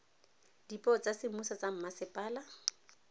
dipuo tsa semmuso tsa mmasepala